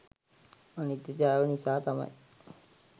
අනිත්‍යතාව නිසා තමයි